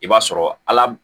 I b'a sɔrɔ ala